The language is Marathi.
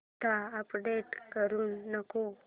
आता अपडेट करू नको